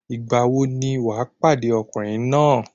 Ìgbà wo ni wà pàdé ọkùnrin náà?